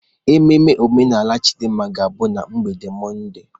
Ememe omenala Chidimma ga-abụ na mgbede Mọnde.